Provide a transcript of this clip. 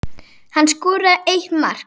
Hann skoraði eitt mark.